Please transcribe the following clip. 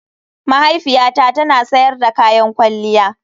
Mahaifiyata tana sayar da kayan kwalliya.